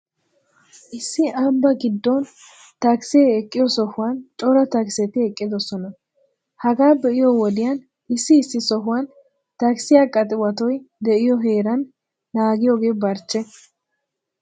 Issi ambbaa giddon takisee eqqiyo sohuwan cora takiseti eqqidoosona. Hagaa be'iyoo wodiyan issi issi sohuwan takisiyaa qaxiwatoy de'iyoo heeran naagiyoogee barchche.